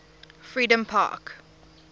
freedompark